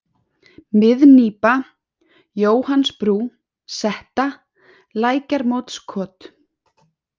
Miðnípa, Jóhannsbrú, Setta, Lækjarmótskot